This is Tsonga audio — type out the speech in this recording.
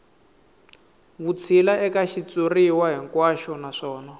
vutshila eka xitshuriwa hinkwaxo naswona